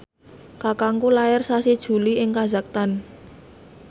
kakangku lair sasi Juli ing kazakhstan